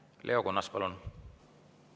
Leo Kunnas, palun!